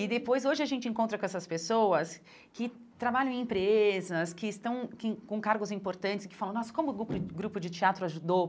E depois, hoje, a gente encontra com essas pessoas que trabalham em empresas, que estão que com cargos importantes e que falam, nossa, como o grupo grupo de teatro ajudou?